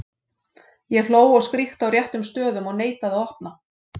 Ég hló og skríkti á réttum stöðum og neitaði að opna.